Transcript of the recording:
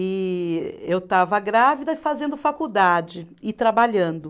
E eu estava grávida e fazendo faculdade e trabalhando.